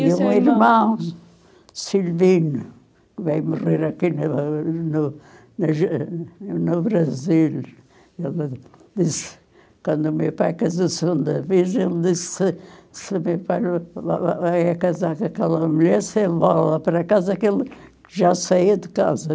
E seu irmão? Meu irmão, Silvino, que veio morrer aqui no no no Brasil no Brasil, disse, quando o meu pai casou-se segunda vez, ele disse, se o meu pai vai vai vai casar com aquela mulher, se envola para casa, que já saía de casa.